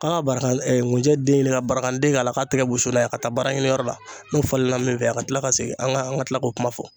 k'a ka baragan ɛɛ ŋunjɛ den ɲini ka baragandi k'a la k'a tigɛ wusu n'a ye ka taa baara ɲiniyɔrɔ la n'o falenna min fɛ a ka kila ka segin an ka an ka tila k'o kuma fɔ